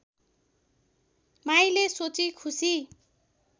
माईले सोची खुसी